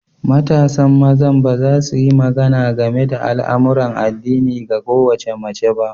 Matasan maza ba za su yi magana game da al'amuran addinin ga kowace mace ba.